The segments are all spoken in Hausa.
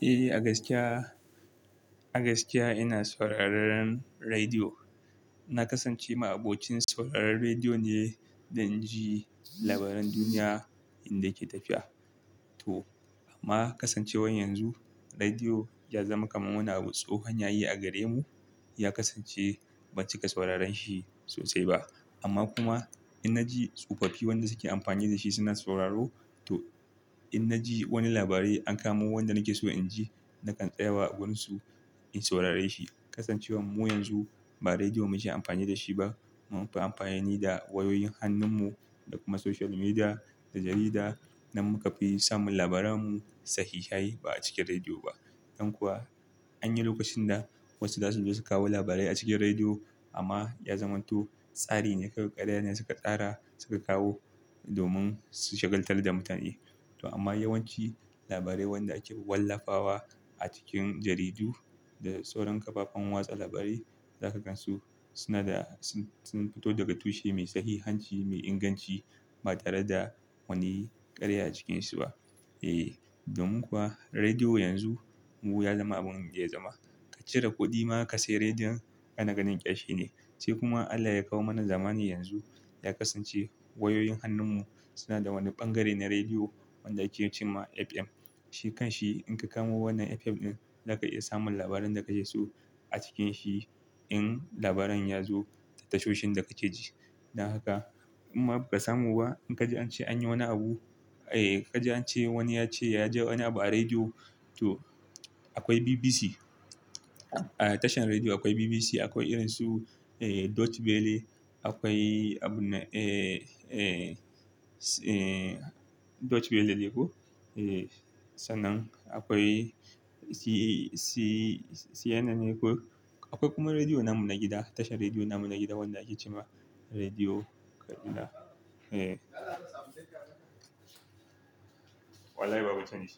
Eh, a gaskiya, a gaskiya ina sauraron rediyo. Na kasance ma abocin sauraron rediyo ne, dan inji labaran duniya inda yake tafiya. To amma kasancewar yanzu rediyo ya zama kamar wani abun tsohon yayi a gare mu, ya kasance ban cika sauraron shi sosai ba. Amma kuma in na ji tsofaffi wanda suke amfani da shi suna sauraro, to in na ji wani labari an kamo wanda nake so in ji, nakan tsaya wa agurun su in saurare shi. Kasancewar mu yanzu ba rediyo muke amfani da shi ba, mun fi amfani da wayoyin hannun mu da kuma social media da jarida nan muka fi samun labara mu sahihahi ba a cikin rediyo ba. Don kuwa anyi lokacin da wasu zasu zo su kawo labarai a cikin rediyo amma ya zama to tsari ne, ƙarya ne suka tsara suka kawo domin su shagaltar da mutane. To amma yawanci labarai wanda ake wallafa wa a cikin jaridu da sauran kafafen watsa labarai za ka gan su suna da sun fito daga tushe mai sahihanci, mai inganci ba tare da wani ƙarya a cikin su ba. Eh domin kuwa rediyo yanzu mu ya zama abin ya zama. Ka cire kuɗi ma ka sayi rediyon, ana ganin kya shi ne. Sai kuma Allah ya kawo mana zamani yanzu ya kasance wayoyin hannun mu suna da wani bangare na rediyo wanda ake cewa FM. Shi kan shi in ka kamo wannan FM ɗin za ka iya samun labaran da kake so a cikin shi in labaran ya zo ta tashoshin da kake ji. Dan haka amma ba ka samu ba in ka ji an ce anyi wani abu, eh ka ji an ce wani ya ce ya ji wani abu a rediyo to akwai BBC. A tashar rediyo akwai BBC, akwai irin su Deutsche Welle. Akwai abun eh, eh, Deutsche Welle ne ko? Eh sannan akwai CNN ne ko? Akwai kuma rediyo namu na gida. Tashar rediyo namu na gida wanda ake cewa rediyo Kaduna. Wallahi babu tuni.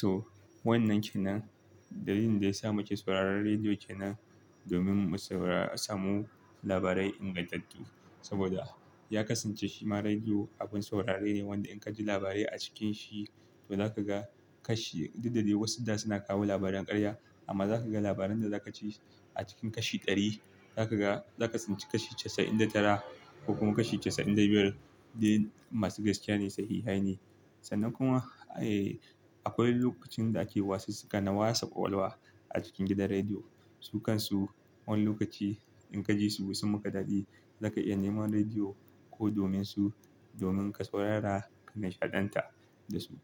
So wannan kenan dalilin da ya sa muke sauraron rediyo kenan domin mu samu labarai ingantattu. Saboda ya kasance shima rediyo abin saurare ne wanda in ka ji labarai a cikin shi to za ka ga kashi duk dai da wasu da suna kawo labaran ƙarya amma za ka ga labaran da za ka ci a cikin kashi ɗari za ka ga, za ka san ci kashi casa'in da tara ko kuma kashi casa'in da biyar dai masu gaskiya ne, sahihahi ne. Sannan kuma eh akwai lokacin da ake wasu sika na Wasa kwakwal wa a cikin gidan rediyo. Su kan su wani lokaci in ka ji su sun muka daɗi za ka iya nema rediyo ko domin su, domin ka saurara ka nishaɗanta da su.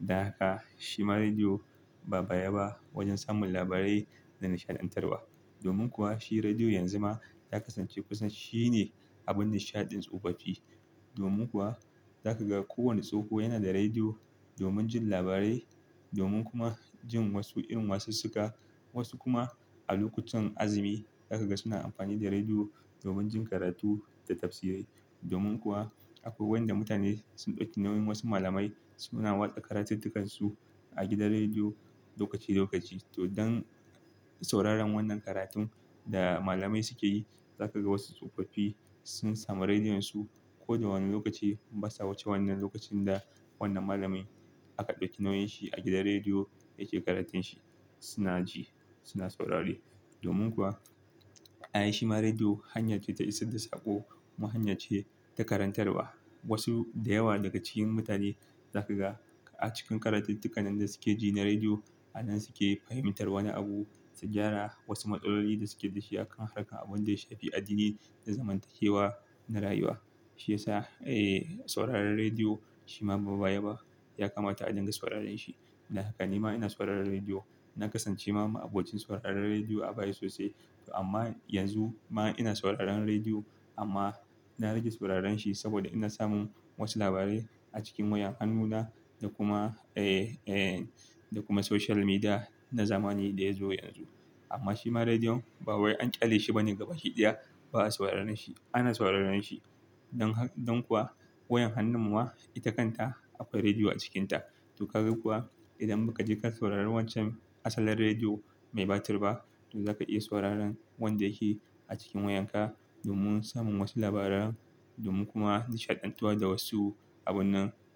Dan haka shi ma rediyo ba baya ba wajen samun labarai da na nishaɗantarwa. Domin kuwa shi rediyo yanzu ma ya kasance kusan shi ne abin nishaɗin tsofaffi. Domin kuwa za ka ga ko wani tsoho yana da rediyo domin jin labarai domin kuma jin wasu irin wasu sika. Wasu kuma a lokutan azumi za ka ga suna amfani da rediyo domin jin karatu da tafsirai. Domin kuwa akwai wanda mutane sun ɗauki nauyin wasu malamai suna watsa karatuttukan su a gidan rediyo lokaci lokaci. To don sauraron wannan karatun da malamai suke yi za ka ga wasu tsofaffi sun samu rediyon su ko da wane lokaci, in ba sa wuce wannan lokacin da wannan malamin aka ɗauki nauyin shi a gidan rediyo yake karatun shi suna ji, suna saurari. Domin kuwa, ayy shi ma rediyo hanya ce ta isar da saƙo, mu hanya ce ta karantarwa. Wasu da yawa daga cikin mutane za ka ga a cikin karatuttukan da suke ji na rediyo a nan suke fahimtar wani abu, sugyara wasu matsaloli da suke da shi akan harkar abin da ya shafi addini da zamantakewa na rayuwa. Shi ya sa eh sauraron rediyo shi ma ba baya ba ya kamata a dinga sauraron shi. Dan haka ni ma ina sauraron rediyo. Na kasance ma abokin sauraron rediyo a baya sosai. To amma yanzu ma ina sauraron rediyo amma na rage sauraron shi saboda ina samun wasu labarai a cikin wayan hannuna da kuma eh, eh da kuma social media na zamani da ya zo yanzu. Amma shi ma rediyon ba wai an ƙyale shi ba ne gaba shi ɗaya ba a sauraron shi. Ana sauraron shi don kuwa wayan hannun ma ita kanta akwai rediyo a cikinta. To ka ga kuwa idan ba ka je ka saurari wancan asalin rediyo mai batir ba to za ka iya sauraron wanda yake a cikin wayan ka domin samun wasu labaran domin kuma nishaɗantuwa da wasu abunnan.